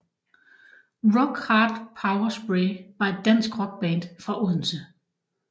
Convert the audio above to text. Rock Hard Power Spray var et dansk rockband fra Odense